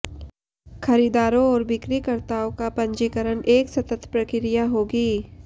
खरीदारों और बिक्रीकर्ताओं का पंजीकरण एक सतत प्रक्रिया होगी